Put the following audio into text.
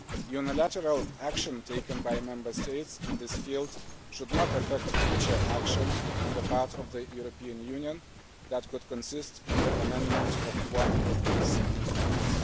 Unilateral action taken by Member States in this field should not affect future action on the part of the European Union that could comprise the amendment of one of these instruments.